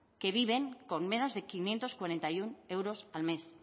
que viven con menos de quinientos cuarenta y uno euros al mes